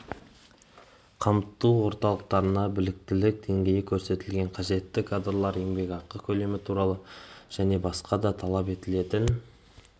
қамту орталықтарына біліктілік деңгейі көрсетілген қажетті кадрлар еңбекақы көлемі туралы және басқа да талап етілетін